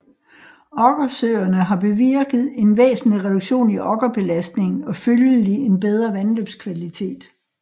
Okkersøerne har bevirket en væsentlig reduktion i okkerbelastningen og følgelig en bedret vandløbskvalitet